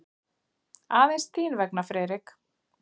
Aðeins þín vegna, Friðrik.